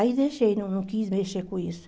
Aí, deixei, não não quis mexer com isso.